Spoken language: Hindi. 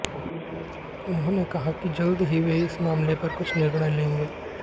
उन्होंने कहा कि जल्द ही वे इस मामले पर कुछ निर्णय लेंगे